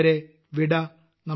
അതുവരെ വിട